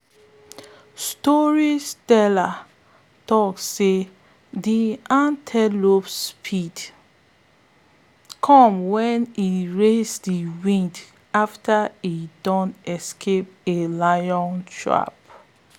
storytellers talk say de antelope speed come wen e race de wind after e don escape a lion trap.